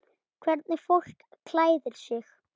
Hvernig fólk klæðir sig.